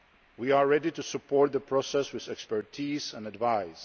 We are ready to support the process with expertise and advice.